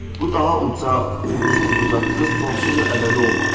Bu daha uca, ucsuz-bucaqsız, sonsuz və əbədi olmaqdır.